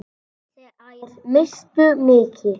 Þær misstu mikið.